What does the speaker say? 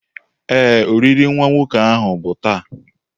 Ee, olili nwa nwoke ahu bụ taa.